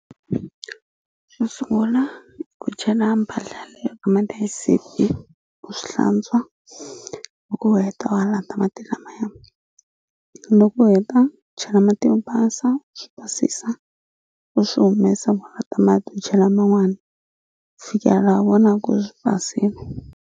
Xo sungula ku chela mpahla leyo hi mati ya xisibi u swi hlantswa loko u heta u halata mati lamaya loko u heta u chela mati yo basa swi basisa u swi humesa mati u chela man'wani ku fikela laha vonaku swi basile